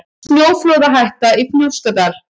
Snjóflóðahætta í Fnjóskadal